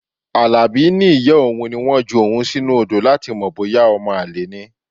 Alabi ní ìyá òun ní wọ́n ju òun sínú odo láti mọ̀ bóyá omo-ale ni.